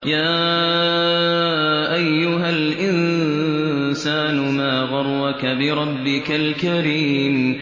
يَا أَيُّهَا الْإِنسَانُ مَا غَرَّكَ بِرَبِّكَ الْكَرِيمِ